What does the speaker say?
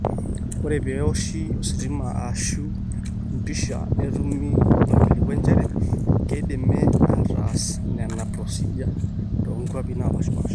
ore pee eoshi ositima aashu empisha netumi orkilikua njere keidimi aataas nena procedure toonkwapi naapaasha